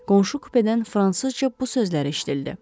Qonşu kupedən fransızca bu sözləri eşitildi.